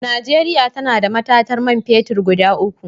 Najeriya tana da matatar man fetir guda uku.